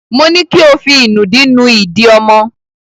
Mo ní ko fí ìnùdí nú ìdí ọmọ!